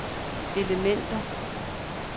elementer